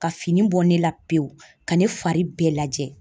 Ka fini bɔ ne la pewu, ka ne fari bɛɛ lajɛ!